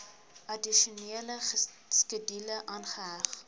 addisionele skedule aangeheg